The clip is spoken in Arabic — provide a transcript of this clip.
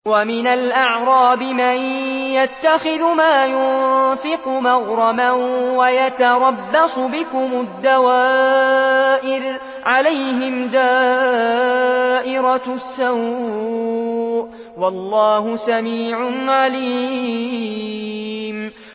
وَمِنَ الْأَعْرَابِ مَن يَتَّخِذُ مَا يُنفِقُ مَغْرَمًا وَيَتَرَبَّصُ بِكُمُ الدَّوَائِرَ ۚ عَلَيْهِمْ دَائِرَةُ السَّوْءِ ۗ وَاللَّهُ سَمِيعٌ عَلِيمٌ